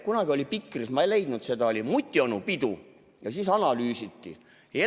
Kunagi oli Pikris "Mutionu pidu" ja siis analüüsiti seda.